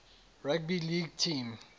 rugby league team